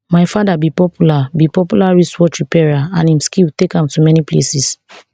my father be popular be popular wristwatch repairer and im skill take am to many places